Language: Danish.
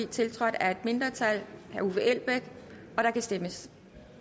tiltrådt af et mindretal og der kan stemmes